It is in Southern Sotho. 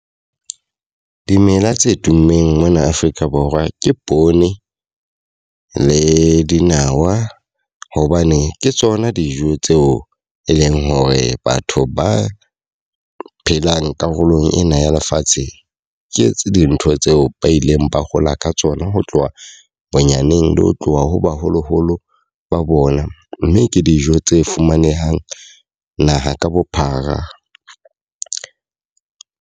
Dimela tse tummeng mona Afrika Borwa ke poone le dinawa. Hobane ke tsona dijo tseo e leng hore batho ba phelang karolong ena ya lefatsheng ke etse dintho tseo ba ileng ba hola ka tsona ho tloha bonyaneng le ho tloha ho baholoholo ba bona. Mme ke dijo tse fumanehang naha ka bophara.